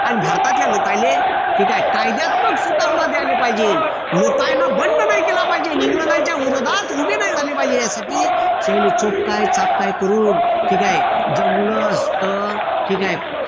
अन भारतातल्या लोकायले ठीक आहे कायद्यात्मक सुधारणा द्यायला पाहिजे. लोकांनी बंद नाही केला पाहिजे. इंग्रजांच्या विरोधात उभे नाही झाले पाहिजे यासाठी त्यांले चोपकाय चापकाय करून ठीक आहे. जमलंच तर ठीक आहे.